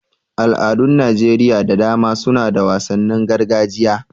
Al'adun Najeriya da dama suna da wasannin gargajiya.